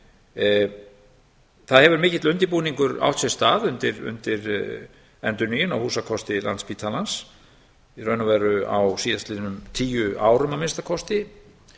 greina það hefur mikill undirbúningur átt sér stað undir endurnýjun á húsakosti landspítalans í raun og veru á síðast liðnum tíu árum að minnsta kosti